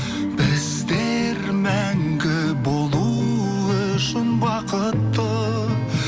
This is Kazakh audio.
біздер мәңгі болу үшін бақытты